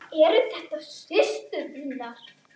Eru þetta systur þínar?